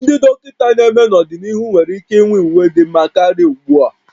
Ndị dọkịta na-eme n'ọdịnihu nwere ike inwe uwe dị mma karịa ugbu a